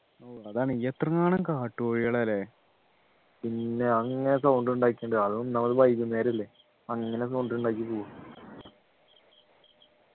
ഓ അതാണ് എത്ര കാട്ടുകോഴികളാ ല്ലേ പിന്നെ അങ്ങനെ sound ഉണ്ടാക്കി അതൊന്നുമത് വൈകുന്നേരമല്ലേ അങ്ങനെ sound ഉണ്ടാക്കി